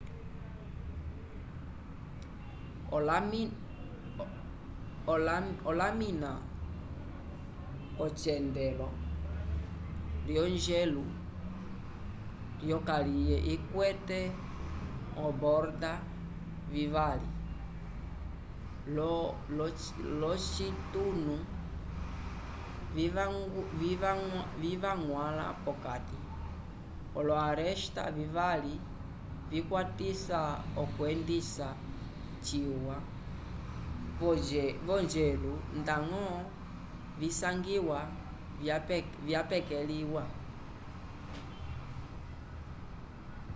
olamina k'ocyendelo lyojelu lyokaliye ikwete oborda vivali l'ocitunu livañgwãla p'okati olo-aresta vivali vikwatisa okwendisa ciwa vojelu ndañgo visangiwa vyapekeliwa